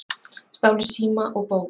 Stálu síma og bók